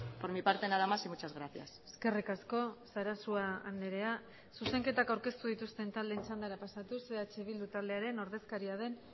por mi parte nada más y muchas gracias eskerrik asko sarasua andrea zuzenketak aurkeztu dituzten taldeen txandara pasatuz eh bildu taldearen ordezkaria den